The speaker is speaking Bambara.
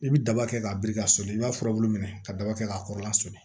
I bi daba kɛ k'a biri ka sɔni i b'a furabulu minɛ ka daba kɛ k'a kɔrɔla soli